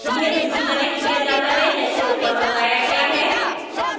यह उसी तरह किया जाता है जैसे ऊपर बताया गया है